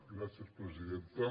gràcies presidenta